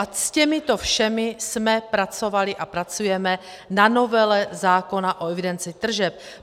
A s těmito všemi jsme pracovali a pracujeme na novele zákona o evidenci tržeb.